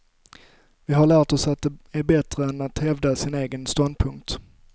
Vi har lärt oss att det är bättre än att hävda sin egen ståndpunkt.